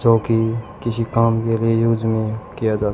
जो कि किसी काम के लिए यूज में किया जाता--